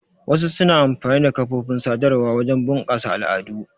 Wasu suna amfani da kafofin sadarwa wajen bunƙasa al'adu.